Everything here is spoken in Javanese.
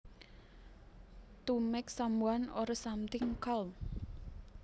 To make someone or something calm